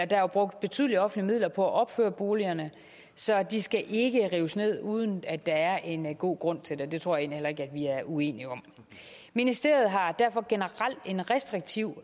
der er brugt betydelige offentlige midler på at opføre boligerne så de skal ikke rives ned uden at der er en god grund til det det tror jeg heller ikke vi er uenige om ministeriet har derfor generelt en restriktiv